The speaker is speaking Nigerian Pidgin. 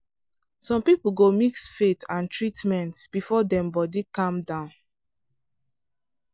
some people go mix faith and treatment before dem body calm.